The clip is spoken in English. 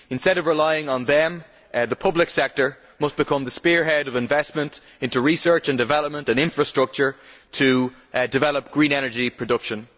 Instead of relying on them, the public sector must become the spearhead of investment into research and development and infrastructure to develop green energy production.